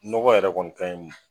N dɔgɔ yɛrɛ kɔni kaɲi